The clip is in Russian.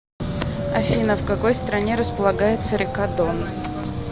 афина в какой стране располагается река дон